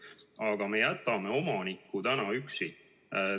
Aga me jätame omaniku praegu üksi.